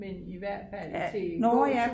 men i hvert fald til gåtur